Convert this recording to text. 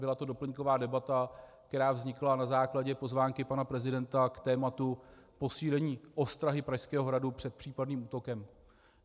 Byla to doplňková debata, která vznikla na základě pozvánky pana prezidenta k tématu posílení ostrahy Pražského hradu před případným útokem.